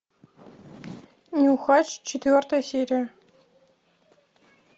нюхач четвертая серия